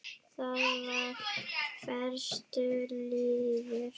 Það var fastur liður.